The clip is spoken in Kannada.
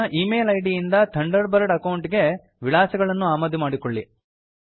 ನಿಮ್ಮ ಈ ಮೇಲ್ ಐಡಿ ಇಂದ ಥಂಡರ್ ಬರ್ಡ್ ಅಕೌಂಟ್ ಗೆ ವಿಳಾಸಗಳನ್ನು ಆಮದು ಮಾಡಿಕೊಳ್ಳಿ